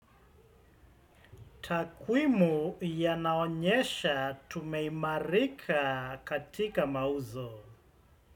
Takwimu yanaonyesha tumeimarika katika mauzo.